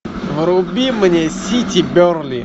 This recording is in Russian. вруби мне сити бернли